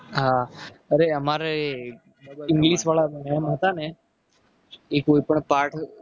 હા અરે અમારે english વાળા mam હતા. ને એ કોઈ પણ પાઠ